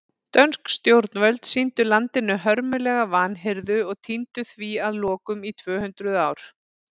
Dönsk stjórnarvöld sýndu landinu hörmulega vanhirðu og týndu því að lokum í tvö hundruð ár.